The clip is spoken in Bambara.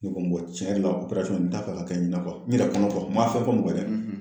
Ne ko n ko tiɲɛ yɛrɛ la n t'a fɛ k'a kɛ ɲina n yɛrɛ kɔnɔ ma fɛn fɔ mɔgɔ ye dɛ.